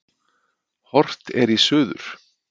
Horft er í suður.